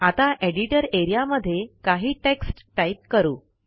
आता editor A R E A मध्ये काही टेक्स्ट टाईप करू